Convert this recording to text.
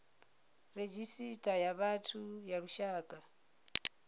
redzhisita ya vhathu ya lushaka